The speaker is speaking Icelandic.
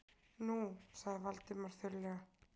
Nú- sagði Valdimar þurrlega.